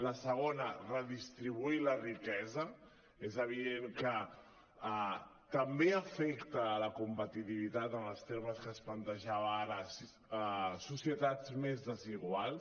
el segon redistribuir la riquesa és evident que també afecten la competitivitat en els termes que es plantejava ara societats més desiguals